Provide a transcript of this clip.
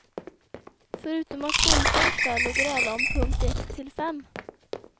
Förutom att gå ut en kväll och gräla om punkt ett till fem.